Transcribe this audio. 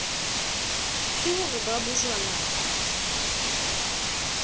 ke ho re ba bojwalane